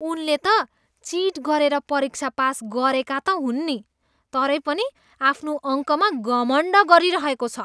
उनले त चिट गरेर परीक्षा पास गरेका त हुन् नि, तरै पनि आफ्नो अङ्कमा घमण्ड गरिरहेको छ।